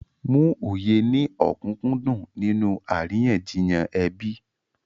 Mú òye ní òkúnkúndùn nínú àríyànjiyàn ẹbí.